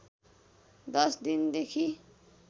दश दिन देखि